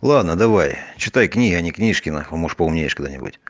ладно давай читай книги а ни книжки может поумнеешь когда нибудь